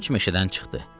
Köç meşədən çıxdı.